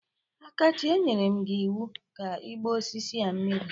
Akachi, e nyere m gi iwu ka ịgba osisi a mmiri!